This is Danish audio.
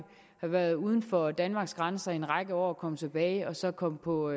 været uden for danmarks grænser i en række år og komme tilbage og så komme på